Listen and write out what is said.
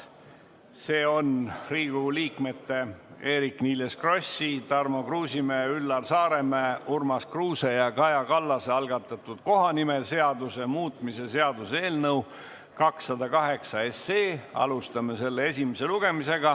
See on Riigikogu liikmete Eerik-Niiles Krossi, Tarmo Kruusimäe, Üllar Saaremäe, Urmas Kruuse ja Kaja Kallase algatatud kohanimeseaduse muutmise seaduse eelnõu 208 esimene lugemine.